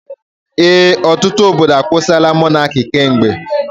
Ee, ọtụtụ obodo akwusila Mọnaki kemgbe.